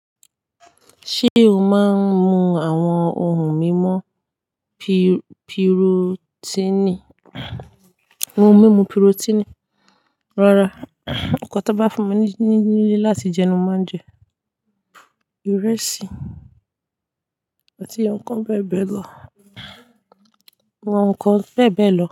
Ṣé o máa ń mu àwọn ohun mímu pi-pirotiini? Ohun mímu pirotiini. Rárá, nǹkan tó n bá fún mi ní nílé láti jẹ ni mo máa ń jẹ, ìrẹsì àti àwọn nǹkan bẹ́ẹ̀ bẹ́ẹ̀ lọ àwọn nǹkan bẹ́ẹ̀ bẹ́ẹ̀ lọ.